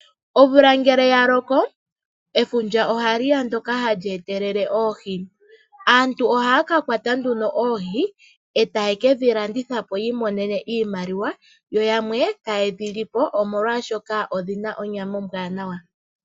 Omvula ngele ya loko, efundja ohali ya ndoka hali etelele oohi. Aantu ohaya ka kwata nduno oohi e taye ke dhi landitha po yi imonene iimaliwa, yo yamwe taye dhi li po omolwaashoka odhina onyama ombwaanawa.